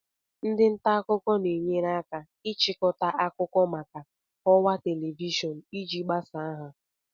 Ndị nta akụkọ na-enyere aka ịchịkọta akụkọ maka ọwa Television iji gbasaa ha